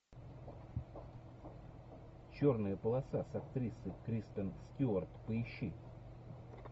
черная полоса с актрисой кристен стюарт поищи